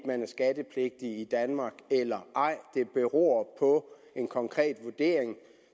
man er skattepligtig i danmark eller ej det beror på en konkret vurdering